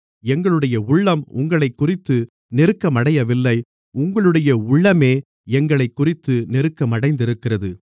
எங்களுடைய உள்ளம் உங்களைக்குறித்து நெருக்கமடையவில்லை உங்களுடைய உள்ளமே எங்களைக்குறித்து நெருக்கமடைந்திருக்கிறது